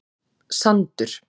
Sandur